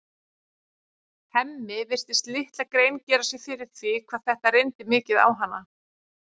Hemmi virtist litla grein gera sér fyrir því hvað þetta reyndi mikið á hana.